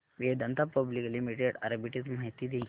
Vedanta public limited arbitrage माहिती दे